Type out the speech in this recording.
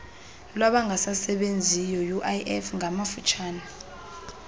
lwabangasasebenziyo uif ngamafutshane